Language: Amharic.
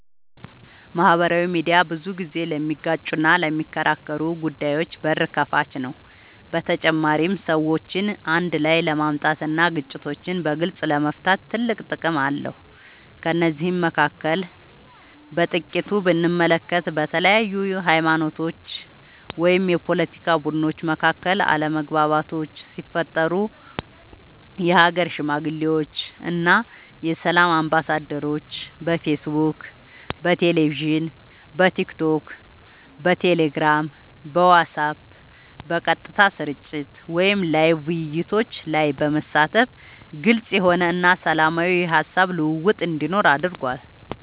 ማህበራዊ ሚድያ ብዙ ጊዜ ለሚጋጩና ለሚከራከሩ ጉዳዮች በር ከፋች ነው በተጨማሪም ሰዎችን አንድ ላይ ለማምጣት እና ግጭቶችን በግልፅ ለመፍታት ትልቅ ጥቅም አለው ከነዚህም መካከል በጥቂቱ ብንመለከት በተለያዩ ሀይማኖቶች ወይም የፓለቲካ ቡድኖች መካከል አለመግባባቶች ሲፈጠሩ የሀገር ሽማግሌዎች እና የሰላም አምባሳደሮች በፌስቡክ በቴሌቪዥን በቲክቶክ በቴሌግራም በዋትስአብ በቀጥታ ስርጭት ወይም ላይቭ ውይይቶች ላይ በመሳተፍ ግልፅ የሆነ እና ሰላማዊ የሀሳብ ልውውጥ እንዲኖር አድርጓል።